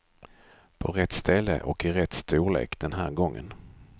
På rätt ställe och i rätt storlek den här gången.